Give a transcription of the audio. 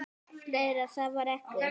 . fleira var það ekki.